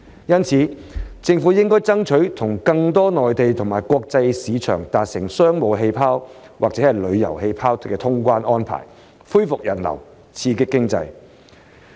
因此，政府應爭取與更多內地和國際市場達成"商務氣泡"或"旅遊氣泡"的通關安排，以便恢復人流，刺激經濟。